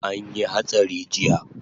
Anyi hatsari jiya